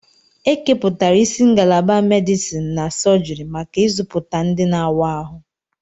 Ekepụtara isi ngalaba medisin na sọjiri maka ịzụpụta ndị na-awa ahụ.